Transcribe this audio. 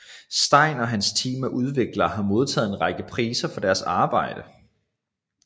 Stein og hans team af udviklere har modtaget en række priser for deres arbejde